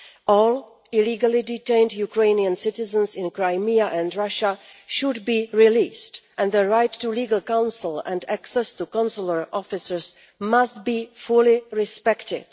All illegally detained Ukrainian citizens in Crimea and Russia should be released and their right to legal counsel and access to consular officers must be fully respected.